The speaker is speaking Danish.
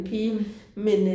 Mh